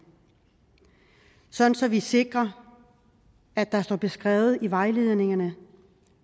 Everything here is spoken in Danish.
sådan at vi sikrer at det står beskrevet i vejledningerne